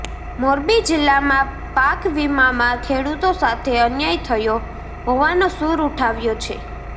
મોરબી જિલ્લામા પાકવિમામા ખેડૂતો સાથે અન્યાય થયો હોવાનો સુર ઉઠ્યો છે